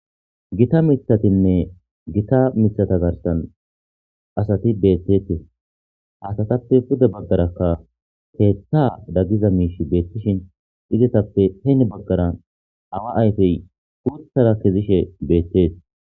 Gita mithatinne gita mithata garsan asati beettetee hatatappe pude baggarakka keetta daggiza miish beettishin izetappe heeni baggaran awa ayfey guuthara kizishe beettes.